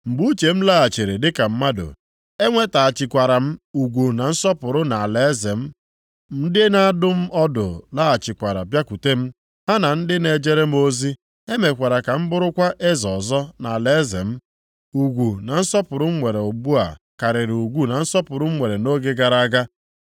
Mgbe uche m laghachiri dịka mmadụ, enwetaghachikwara m ugwu na nsọpụrụ na alaeze m. Ndị na-adụ m ọdụ laghachikwara bịakwute m, ha na ndị na-ejere m ozi. E mekwara ka m bụrụkwa eze ọzọ nʼalaeze m. Ugwu na nsọpụrụ m nwere ugbu a karịrị ugwu na nsọpụrụ m nwere nʼoge gara aga.